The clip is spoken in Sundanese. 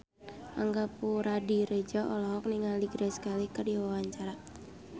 Angga Puradiredja olohok ningali Grace Kelly keur diwawancara